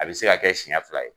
A bɛ se ka kɛ siyɛn fila ye.